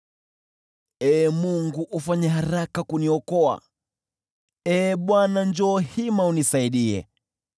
Ee Mungu, ufanye haraka kuniokoa; Ee Bwana , njoo hima unisaidie.